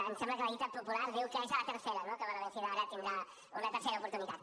em sembla que la dita popular diu que és a la tercera no que va la vencida ara tindrà una tercera oportunitat